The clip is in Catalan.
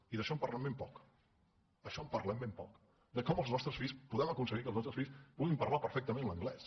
i d’això en parlen ben poc d’això en parlem ben poc de com podem acon·seguir que els nostres fills puguin parlar perfectament l’anglès